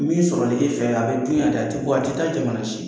Min sɔrɔ nege fɛ a bɛ dun yan de, a tɛ bɔ a tɛ taa jamana si.